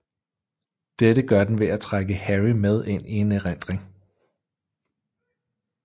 Dette gør den ved at trække Harry med ind i en erindring